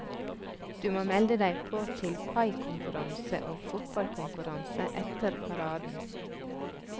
Du må melde deg på til paikonkurranse og fotballkonkurranse etter paraden.